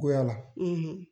Goyala